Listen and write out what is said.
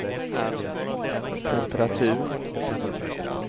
temperatur